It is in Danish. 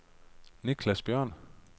Nicklas Bjørn